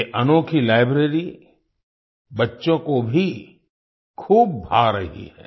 ये अनोखी लाइब्रेरी बच्चों को भी खूब भा रही है